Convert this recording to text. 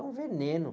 é um veneno.